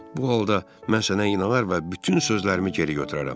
Bu halda mən sənə inanar və bütün sözlərimi geri götürərəm.